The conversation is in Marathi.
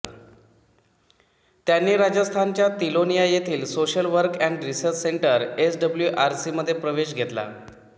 त्यांनी राजस्थानच्या तिलोनिया येथील social work and research centre SWRC मध्ये प्रवेश घेतला